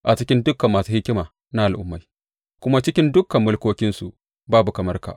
A cikin dukan masu hikima na al’ummai kuma cikin dukan mulkokinsu, babu kamar ka.